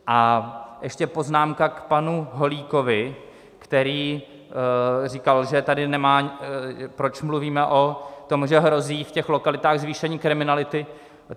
A ještě poznámka k panu Holíkovi, který říkal, že tady nemá... proč mluvíme o tom, že hrozí v těch lokalitách zvýšení kriminality.